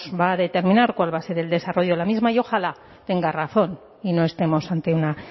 va a determinar cuál va a ser el desarrollo de la misma y ojalá tenga razón y no estemos ante una